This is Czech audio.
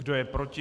Kdo je proti?